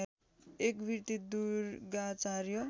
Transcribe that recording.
एक वृत्ति दुर्गाचार्य